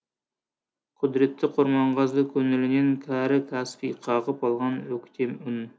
құдіретті құрманғазы көңілінен кәрі каспий қағып алған өктем үн